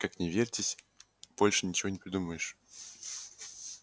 как ни вертись больше ничего не придумаешь